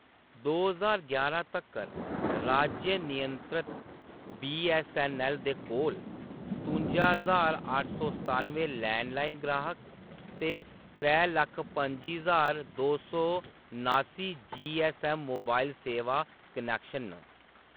दो ज्हार यारां तक्कर, राज्य-नियंत्रत बी.एस.एन.एल. दे कोल सतुंजा ज्हार अट्ठ सौ सतानुएं लैंडलाइन गाह्‌‌क ते त्रै लक्ख पं'जी ज्हार दो सौ नास्सी जी.एस.एम. मोबाइल सेवा कनैक्शन न।